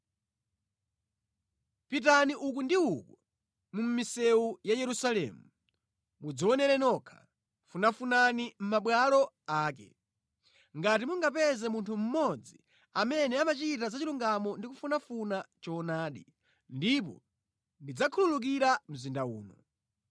“Pitani uku ndi uku mʼmisewu ya Yerusalemu, mudzionere nokha, funafunani mʼmabwalo ake. Ngati mungapeze munthu mmodzi amene amachita zachilungamo ndi kufunafuna choonadi, ndipo ndidzakhululukira mzinda uno.